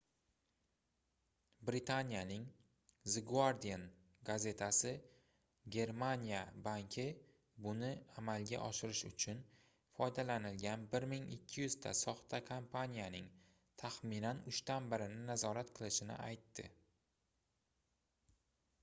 britaniyaning the guardian gazetasi germaniya banki buni amalga oshirish uchun foydalanilgan 1200 ta soxta kompaniyaning taxminan uchdan birini nazorat qilishini aytadi